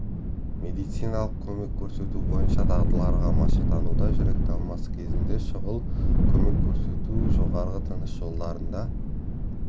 медициналық көмек көрсету бойынша дағдыларға машықтануда жүрек талмасы кезінде шұғыл көмек көрсету жоғарғы тыныс жолдарында